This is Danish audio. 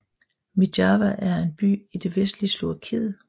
Myjava er en by i det vestlige Slovakiet